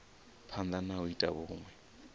phanda na u ita vhunwe